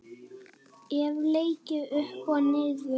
Hef leikið upp og niður.